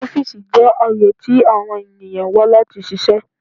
Ọfiisi jẹ aaye ti awọn eniyan wa lati ṣiṣẹ